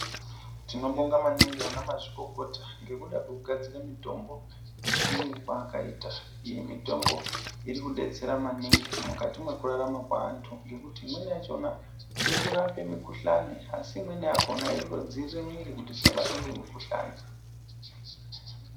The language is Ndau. Tinobonga maningi ana mazvikokota ngekuda kwekugadzira mutombo yechiyungu kwaakaita. Iyi mitombo iri kudetsera maningi mukati mwekupona kwevantu ngekuti imweni yacho irikurape mikhuhlane asi imweni yakona irikudzivirira mwiri kuti isabatwe ngemukhuhlane.